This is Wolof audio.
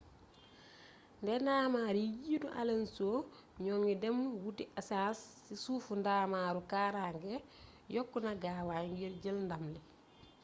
ne ndamar yi jiitu alonso ñoo ngi dem wuuti esaas si sufu ndamaru kaaraange yokku na gaawaay ngir jël ndam li